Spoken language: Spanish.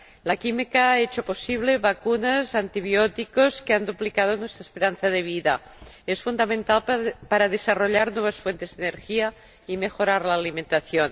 La química ha hecho posible vacunas y antibióticos que han duplicado nuestra esperanza de vida y es fundamental para desarrollar nuevas fuentes de energía y mejorar la alimentación.